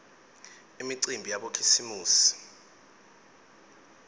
imicimbi yabokhisimusi